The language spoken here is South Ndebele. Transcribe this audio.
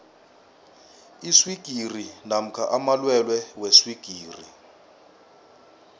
iswigiri namkha amalwelwe weswigiri